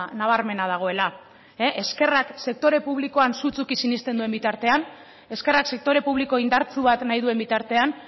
nabarmena dagoela ezkerrak sektore publikoan sutsuki sinesten duen bitartean ezkerrak sektore publiko indartsu bat nahi duen bitartean